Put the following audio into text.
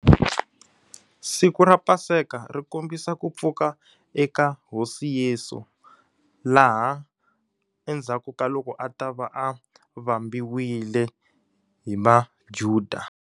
Siku ra Paseka ri kombisa ku pfuka eka hosi Yeso. Laha endzhaku ka loko a ta va a vambiwile hi maJuda.